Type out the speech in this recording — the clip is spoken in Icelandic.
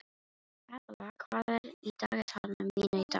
Abela, hvað er í dagatalinu mínu í dag?